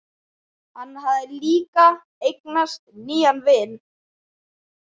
Hann hafði líka eignast nýjan vin.